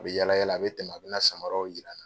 A be yaala yaala, a be tɛmɛ, a bena samaraw yir'an na.